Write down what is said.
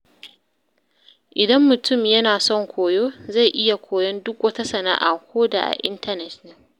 Idan mutum yana son koyo, zai iya koyon duk wata sana’a, ko da a intanet ne.